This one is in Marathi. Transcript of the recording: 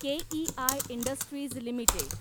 KEI industries limited